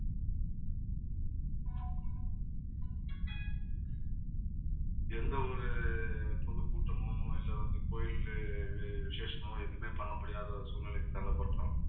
எந்த ஒரு பொதுக்கூட்டமோ இல்லை வந்து கோயிலு விசேஷமோ எதுவுமே பண்ண முடியாத ஒரு சூழ்நிலைக்கு தள்ளப்பட்டோம்